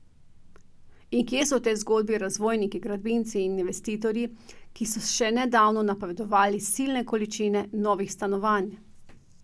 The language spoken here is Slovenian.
In kje so v tej zgodbi razvojniki, gradbinci in investitorji, ki so še nedavno napovedovali silne količine novih stanovanj?